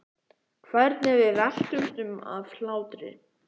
Hvernig við veltumst um af hlátri.